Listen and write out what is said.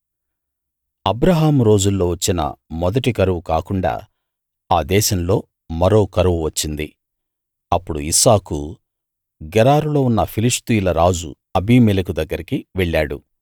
అబ్రాహాము రోజుల్లో వచ్చిన మొదటి కరువు కాకుండా ఆ దేశంలో మరో కరువు వచ్చింది అప్పుడు ఇస్సాకు గెరారులో ఉన్న ఫిలిష్తీయుల రాజు అబీమెలెకు దగ్గరికి వెళ్ళాడు